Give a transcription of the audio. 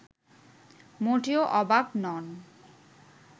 মোটেও অবাক নন